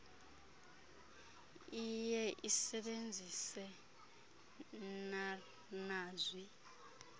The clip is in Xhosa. lye isebenzise narnazwi